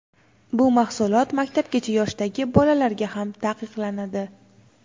bu mahsulot maktabgacha yoshdagi bolalarga ham taqiqlanadi.